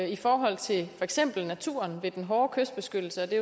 i forhold til for eksempel naturen ved den hårde kystbeskyttelse og det